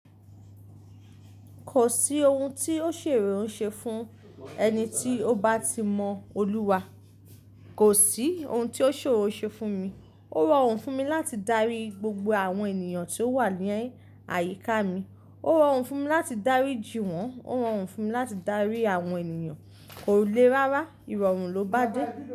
Kò sí ohun tí ó ṣòro ṣe fún ẹni tí ó bá ti mọ Olúwa. Kò sí ohun tí ó ṣòro ṣe fún mi. Ó rọrùn fún mi láti dárí gbogbo àwọn ènìyàn tí ó wà ní ayíká mi. Ó rọrùn fún mi láti dáríji wọ́n. Ó rọrùn fún mi láti dárí àwọn ènìyàn. Kò le rárá, ìrọ̀rùn ló bá dé.